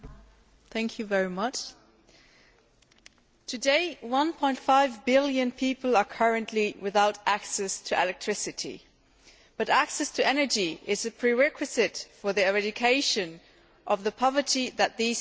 Mr President, today, 1.5 billion people are currently without access to electricity, but access to energy is a prerequisite for the eradication of the poverty that these people live in.